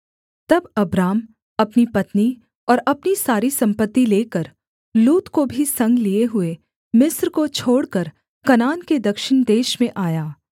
तब अब्राम अपनी पत्नी और अपनी सारी सम्पत्ति लेकर लूत को भी संग लिये हुए मिस्र को छोड़कर कनान के दक्षिण देश में आया